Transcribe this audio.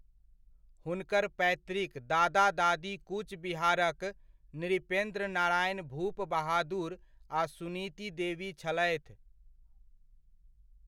हुनकर पैतृक दादा दादी कूच बिहारक नृपेन्द्र नारायण भूपबहादुर आ सुनीति देवी छलथि।